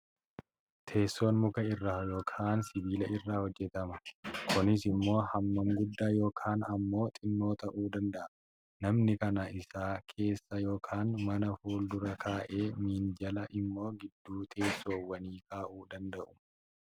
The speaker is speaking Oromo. Teessoon muka irraa yookaan sibiila irra hojjetama. Kunis immoo hammaan guddaa yookaan immoo xinnoo ta'uu danda'a. Namni mana isaa keessa yookaan mana fuldura kaa'ee, minjaala immoo gidduu teessoowwanii kaa'uu danda'u.